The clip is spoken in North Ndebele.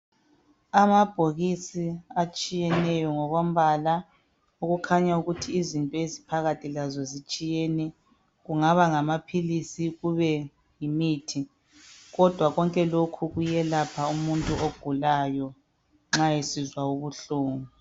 Amabhokisi atshiyeneyo ngokombala okukhanya ukuthi izinto eziphakathi lazo zitshiyene kungaba ngamaphilisi kube yimithi kodwa konke lokhu kuyelapha umuntu ogulayo nxa esizwa ubuhlungu.